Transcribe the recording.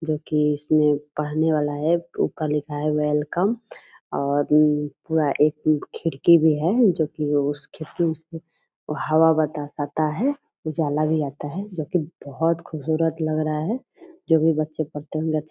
जो की इसमें पढ़ने वाला है ऊपर लिखा है वेलकम और उ वहा खिड़की भी है जो की वो हवा बतास आता है उजाला भी आता है जो की बोहोत खूबसूरत लग रहा है जो भी बच्चे पढ़ते होंगे --